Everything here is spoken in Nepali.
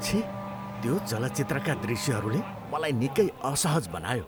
छि! त्यो चलचित्रका दृश्यहरूले मलाई निकै असहज बनायो।